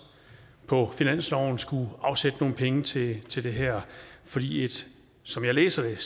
på finansloven vil skulle afsætte nogle penge til til det her fordi et som jeg læser det